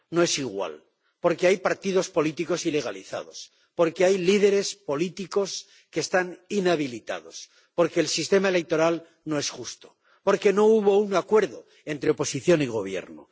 no es igual, porque hay partidos políticos ilegalizados, porque hay líderes políticos que están inhabilitados, porque el sistema electoral no es justo, porque no hubo un acuerdo entre oposición y Gobierno.